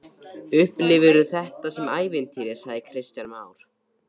Kristján Már: Upplifirðu þetta sem ævintýri?